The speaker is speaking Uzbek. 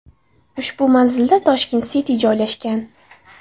Ushbu manzilda Tashkent City joylashgan.